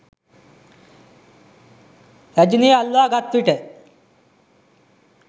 රැජිනිය අල්වා ගත්විට